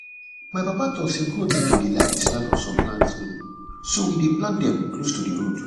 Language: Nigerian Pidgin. my papa talk say goats bin like the smell of some plants um so we dey plant them close to d road